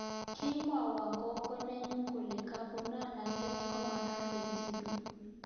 Kimwoiwo gogo nenyu kole kamuratanet komagaat eng tibiik